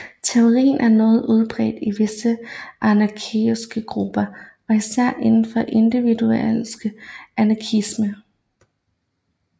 Teorien er noget udbredt i visse anarkistiske grupper og især inden for individualistisk anarkisme